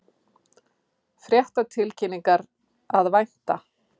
Fréttatilkynningar að vænta